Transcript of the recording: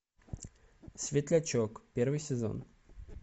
светлячок первый сезон